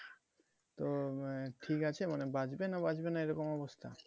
তো মানে ঠিক আছে মানে বাঁচবে না বাঁচবে না এরকম অবস্থা?